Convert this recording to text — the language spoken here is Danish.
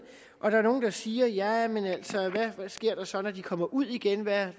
der er nogle der siger jamen hvad sker der så når de kommer ud igen hvad